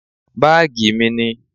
Báàgí mí ni.